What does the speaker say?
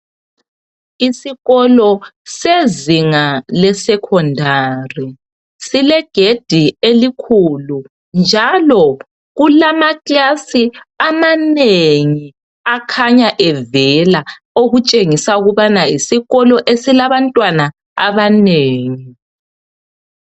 Isikolo sezinga leSekhondari silegedi elikhulu njalo kulamakilasi amanengi akhanya evela okutshengisa ukubana yisikolo esilabantwana abanengi.